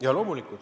Jaa, loomulikult.